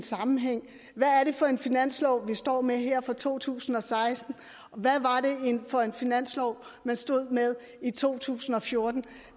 sammenhæng hvad er det for en finanslov vi står med her for to tusind og seksten og hvad var det for en finanslov man stod med i 2014